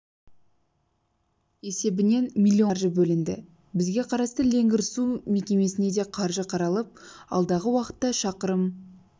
есебінен миллион қаржы бөлінді бізге қарасты леңгір су мекемесіне де қаржы қаралып алдағы уақытта шақырым